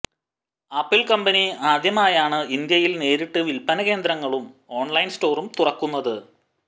് ആപ്പിള് കമ്പനി ആദ്യമായാണ് ഇന്ത്യയില് നേരിട്ട് വില്പന കേന്ദ്രങ്ങളും ഓണ്ലൈന് സ്റ്റോറും തുറക്കുന്നത്